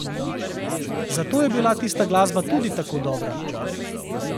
Zato je bila tista glasba tudi tako dobra.